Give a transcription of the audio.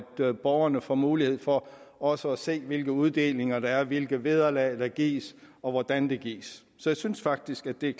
så borgerne får mulighed for også at se hvilke uddelinger der er hvilke vederlag der gives og hvordan de gives så jeg synes faktisk at det er